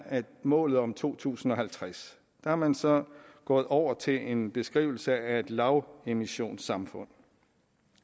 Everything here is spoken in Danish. målet om to tusind og halvtreds der er man så gået over til en beskrivelse af et lavemissionssamfund